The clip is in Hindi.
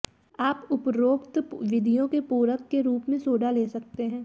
आप उपरोक्त विधियों के पूरक के रूप में सोडा ले सकते हैं